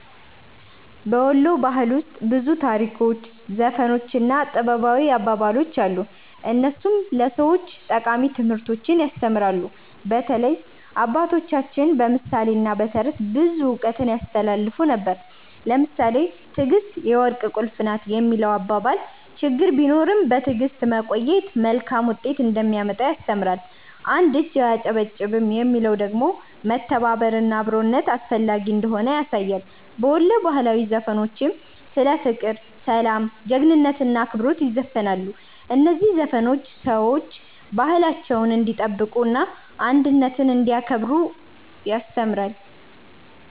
በ ወሎ ባህል ውስጥ ብዙ ታሪኮች፣ ዘፈኖች እና ጥበባዊ አባባሎች አሉ፣ እነሱም ለሰዎች ጠቃሚ ትምህርቶችን ያስተምራሉ። በተለይ አባቶቻችን በምሳሌ እና በተረት ብዙ እውቀት ያስተላልፉ ነበር። ለምሳሌ “ትዕግስት የወርቅ ቁልፍ ናት” የሚለው አባባል ችግር ቢኖርም በትዕግስት መቆየት መልካም ውጤት እንደሚያመጣ ያስተምራል። “አንድ እጅ አያጨበጭብም” የሚለው ደግሞ መተባበር እና አብሮነት እንዳስፈላጊ ያሳያል። በወሎ ባህላዊ ዘፈኖችም ስለ ፍቅር፣ ሰላም፣ ጀግንነት እና አክብሮት ይዘፈናል። እነዚህ ዘፈኖች ሰዎች ባህላቸውን እንዲጠብቁ እና አንድነትን እንዲያከብሩ ያስተምራሉ።